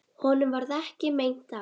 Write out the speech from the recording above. Honum varð ekki meint af.